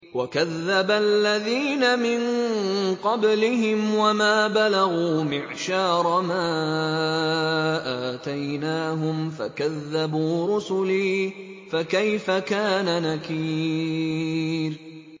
وَكَذَّبَ الَّذِينَ مِن قَبْلِهِمْ وَمَا بَلَغُوا مِعْشَارَ مَا آتَيْنَاهُمْ فَكَذَّبُوا رُسُلِي ۖ فَكَيْفَ كَانَ نَكِيرِ